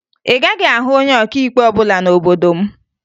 Ị gaghị ahụ onye ọkaikpe ọbụla n'obodo m